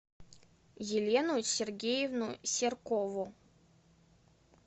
елену сергеевну серкову